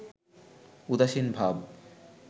উদাসীন ভাব